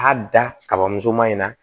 A da kaba musoman in na